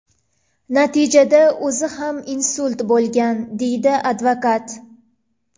Natijada o‘zi ham insult bo‘lgan”, deydi advokat.